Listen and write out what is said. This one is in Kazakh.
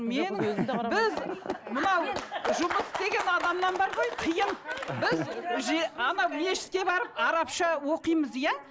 менің біз мынау жұмыс істеген адамнан бар ғой қиын анау мешітке барып арапша оқимыз иә